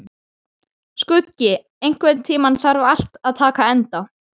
Skuggi, einhvern tímann þarf allt að taka enda.